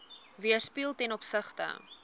weerspieël ten opsigte